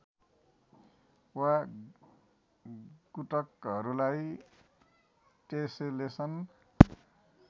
वा गुटकहरूलाई टेसेलेसन